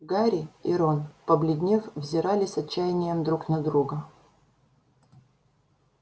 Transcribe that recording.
гарри и рон побледнев взирали с отчаянием друг на друга